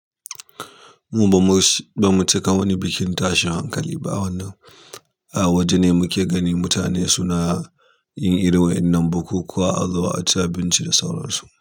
Mu ba mu sh- mu cika wani bikin tashin hankali ba wannan, ah wajene muke gani mutane suna yin irin wa'innan bukukuwa azu a ci abinci da sauransu.